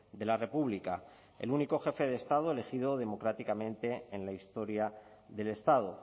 de la república el único jefe de estado elegido democráticamente en la historia del estado